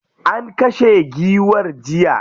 An kashe giwar jiya.